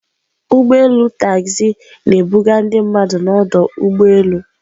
Ụgbọ elu Taxi na-ebuga ndị mmadụ n'ọdụ ụgbọ elu.